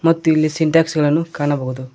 ಮತ್ತು ಇಲ್ಲಿ ಸಿನ್ಥಾಕ್ಸ್ ಗಳನ್ನು ಕಾಣಬಹುದು.